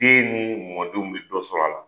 Den ni mɔdenw bi dɔ sɔrɔ a la